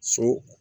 So